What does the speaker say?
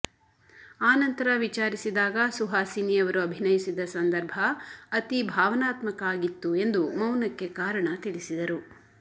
ಆನಂತರ ವಿಚಾರಿಸಿದಾಗ ಸುಹಾಸಿನಿ ಅವರು ಅಭಿನಯಿಸಿದ ಸಂದರ್ಭ ಅತಿ ಭಾವನಾತ್ಮಕ ಆಗಿತ್ತು ಎಂದು ಮೌನಕ್ಕೆ ಕಾರಣ ತಿಳಿಸಿದರು